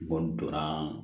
N kɔni donna